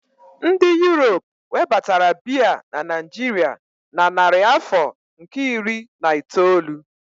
Ndị Europe webatara Beer na Naijiria na narị afọ nke iri na itoolu